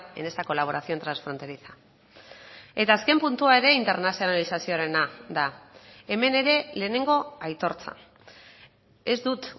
en esa colaboración transfronteriza eta azken puntua ere internazionalizazioarena da hemen ere lehenengo aitortza ez dut